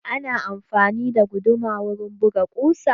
Ana amfani da guduma wurin buga ƙusa.